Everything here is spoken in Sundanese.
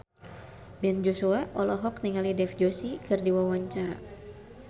Ben Joshua olohok ningali Dev Joshi keur diwawancara